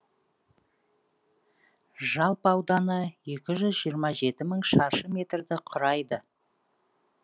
жалпы ауданы екі жүз жиырма жеті мың шаршы метрді құрайды